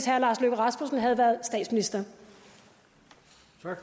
herre lars løkke rasmussen havde været statsminister